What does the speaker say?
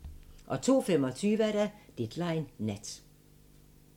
02:25: Deadline Nat